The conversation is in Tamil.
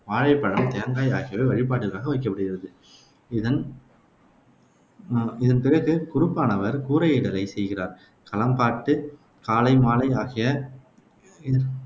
வாழைப்பழம், தேங்காய் ஆகியவை வழிபாட்டிற்காக வைக்கப்படுகிறது. இதன் இதன்பிறகு குருப்பானவர் கூரையிடலைச் செய்கிறார். களம்பாட்டு காலை மாலை ஆகிய இ